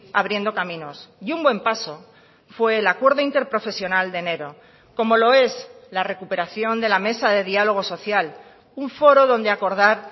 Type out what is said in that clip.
abriendo caminos y un buen paso fue el acuerdo interprofesional de enero como lo es la recuperación de la mesa de diálogo social un foro donde acordar